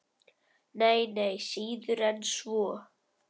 Nei, nei, síður en svo.